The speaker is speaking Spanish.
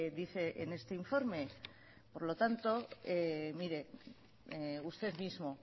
dice en este informe por lo tanto mire usted mismo